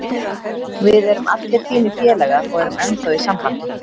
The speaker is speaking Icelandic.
Við erum allir fínir félagar og erum ennþá í sambandi.